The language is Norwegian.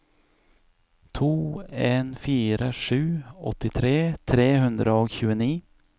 to en fire sju åttitre tre hundre og tjueni